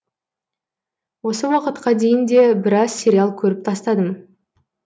осы уақытқа дейін де біраз сериал көріп тастадым